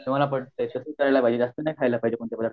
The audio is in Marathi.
ते मला पटत आहे प्रमाणात खायला पाहिजे जास्त नाही खायला पाहिजे